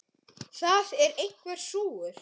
Það er einhver súgur.